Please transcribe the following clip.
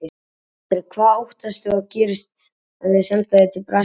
Andri: Hvað óttastu að gerist ef þeir senda þig til Brasilíu?